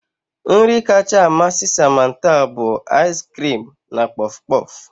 Nri kacha amasị Samantha bụ ais kirim na kpof kpof